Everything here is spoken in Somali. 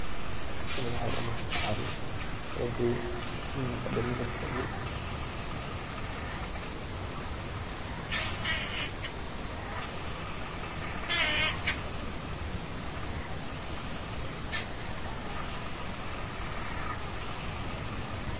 Halkani waxay umugata carur kaladuwan, midna fadiyo mid tagan.